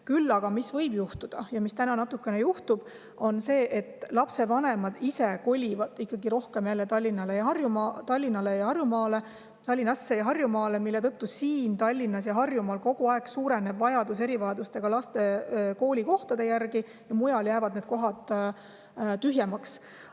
Küll aga, mis võib juhtuda ja mida on juba natukene, on see, et lapsevanemad ise kolivad Tallinnasse ja Harjumaale, mille tõttu vajadus erivajadustega laste koolikohtade järele Tallinnas ja Harjumaal kogu aeg suureneb ja mujal jäävad need tühjemaks.